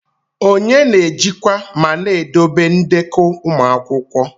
Onye na-ejikwa ma na-edobe ndekọ ụmụ akwụkwọ?